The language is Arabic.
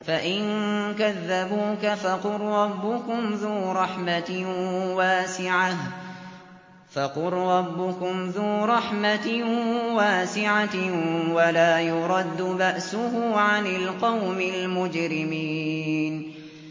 فَإِن كَذَّبُوكَ فَقُل رَّبُّكُمْ ذُو رَحْمَةٍ وَاسِعَةٍ وَلَا يُرَدُّ بَأْسُهُ عَنِ الْقَوْمِ الْمُجْرِمِينَ